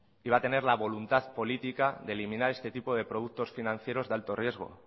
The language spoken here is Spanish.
iba a tener la voluntad política de eliminar este tipo de productos financieros de alto riesgo